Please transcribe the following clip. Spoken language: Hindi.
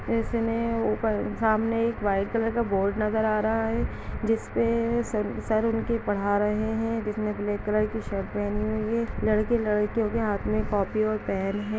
इसने ऊपर सामने एक वाइट कलर का बोर्ड नजर आ रहा है जिसपे सर उनके पढ़ा रहे है जिसने ब्लैक कलर की शर्ट पहनी हुई है लड़के -लड़कियों के हाथ में कॉपी और पेन हैं।